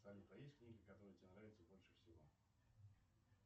салют а есть книги которые тебе нравятся больше всего